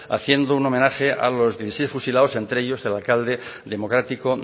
haciendo un homenaje a los dieciséis fusilados entre ellos el alcalde democrático